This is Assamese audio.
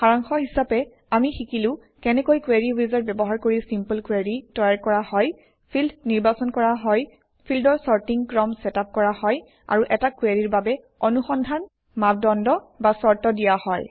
সাৰাংশ হিচাপে আমি শিকিলো কেনেকৈ কোৰী উইজাৰ্ড ব্যৱহাৰ কৰি চিম্পল কুৱেৰি তৈয়াৰ কৰা হয় ফিল্ড নিৰ্বাচন কৰা হয় ফিল্ডৰ চৰ্টিং ক্ৰম চেটআপ কৰা হয় আৰু এটা কুৱেৰিৰ বাবে অনুসন্ধান মাপ দন্দ বা চৰ্ত দিয়া হয়